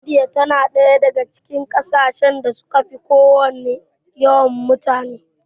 Indiya tana ɗaya daga cikin ƙasashen da suka fi kowanne yawan mutane.